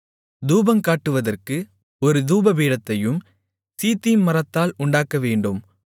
தூபங்காட்டுவதற்கு ஒரு தூபபீடத்தையும் சீத்திம் மரத்தால் உண்டாக்கவேண்டும்